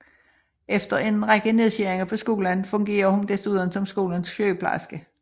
Efter en række nedskæringer på skolen fungerer hun desuden som skolens sygeplejerske